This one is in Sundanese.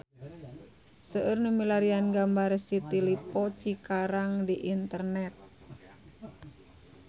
Seueur nu milarian gambar City Lippo Cikarang di internet